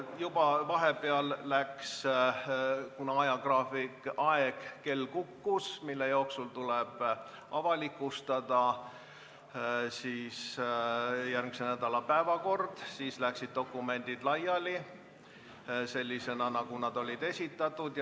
Kuna vahepeal kell kukkus ja aeg, mille jooksul tuleb avalikustada järgmise nädala päevakord, sai läbi, saadeti dokumendid laiali sellisena, nagu need olid esitatud.